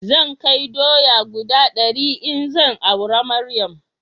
Zan kai doya guda dari in zan aura Maryam